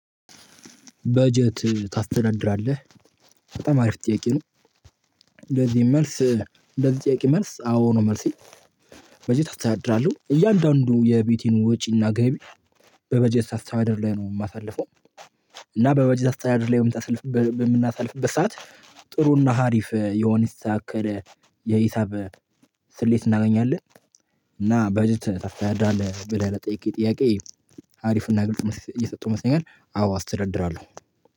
በጀት ታስተዳድራለህ በጣም አሪፍ ጥያቄ ነው። ለዚህም መልስ ለዚህ ጥያቄ መልስ አዎ ነው መልሴ። በጀት አስተዳድራለሁ እያንዳንዱ የቤቴን ወጪና ገቢ በበጀት አስተዳደር ላይ ነው የማሳልፈው። እና በበጀት አስተዳደር ላይ በምናሳልፍበት ሰዓት ጥሩና ሀሪፍ የሆነ የተስተካከል የሂሳብ ስሌት እናገኛለን። እና በጀት ታስተዳድራለህ ብለህ ለጠየከኝ ጥያቄ። አሪፍ እና ግልጽ መልስ እየሰጠው ይመስለኛል አዎ አስተዳድራለሁ